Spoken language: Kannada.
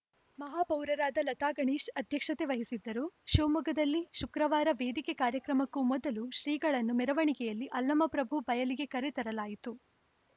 ಮಹಾಪೌರರಾದ ಲತಾ ಗಣೇಶ್‌ ಅಧ್ಯಕ್ಷತೆ ವಹಿಸಿದ್ದರು ಶಿವಮೊಗ್ಗದಲ್ಲಿ ಶುಕ್ರವಾರ ವೇದಿಕೆ ಕಾರ್ಯಕ್ರಮಕ್ಕೂ ಮೊದಲು ಶ್ರೀಗಳನ್ನು ಮೆರವಣಿಗೆಯಲ್ಲಿ ಅಲ್ಲಮ ಪ್ರಭು ಬಯಲಿಗೆ ಕರೆ ತರಲಾಯಿತು